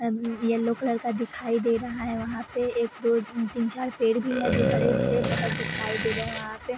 अब yellow colour का दिखाई दे रहा है | वहाँ पे एक दो तीन चार पेड़ भी है जो-हरे भरे बहुत दिखाई दे रहे हैं वहाँ पे।